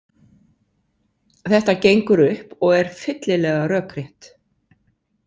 Þetta gengur upp og er fyllilega rökrétt.